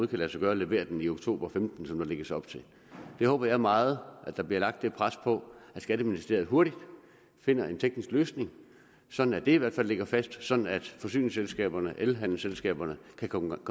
kan lade sig gøre at levere den i oktober og femten som der lægges op til jeg håber meget at der bliver lagt det pres at skatteministeriet hurtigt finder en teknisk løsning sådan at det i hvert fald ligger fast sådan at forsyningsselskaberne og elhandelsselskaberne kan komme